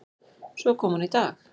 Svo kom hún í dag.